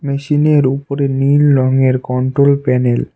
মেশিনের উপরে নীল রংয়ের কন্ট্রোল প্যানেল ।